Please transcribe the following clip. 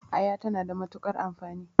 Aya ta na da matuƙar amfani